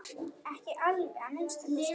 Ekki alveg að minnsta kosti!